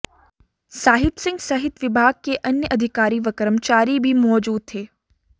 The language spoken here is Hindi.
साहिब सिंह सहित विभाग के अन्य अधिकारी व कर्मचारी भी मौजूद थे